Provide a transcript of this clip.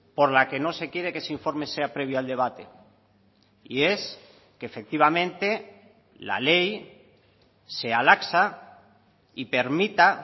por la que no se quiere que ese informe sea previo al debate y es que efectivamente la ley sea laxa y permita